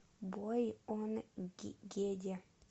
бойонггеде